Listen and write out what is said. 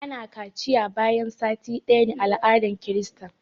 ana kaciya bayan sati ɗaya ne a aladar krista